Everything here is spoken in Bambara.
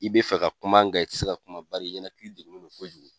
I bɛ fɛ ka kuma nga i tɛ se ka kuma bari i ɲɛnakiri degulen do kojugu.